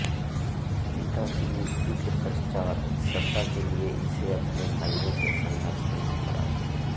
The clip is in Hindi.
पिता की मृत्यु के पश्चात् सत्ता के लिये इसे अपने भाइयों से संघर्ष करना पड़ा